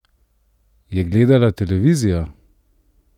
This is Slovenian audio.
Je gledala televizijo?